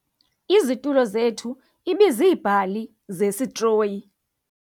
Izitulo zethu ibiziibhali zesitroyi.